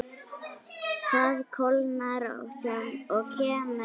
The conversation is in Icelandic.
Það kólnar og kemur haust.